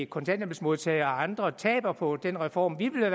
kontanthjælpsmodtagere og andre taber på den reform vi